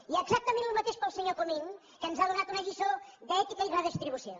i exactament el mateix per al senyor comín que ens ha donat una lliçó d’ètica i redistribució